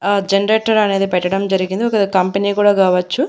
ఆ జనరేటర్ అనేది పెట్టడం జరిగింది ఒకవేళ కంపెనీ కూడా కావచ్చు.